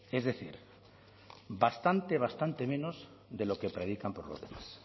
es decir bastante bastante menos de lo que predican por los demás